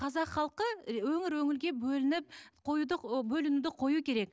қазақ халқы ы өңір өңірге бөлініп қоюды бөлінуді қою керек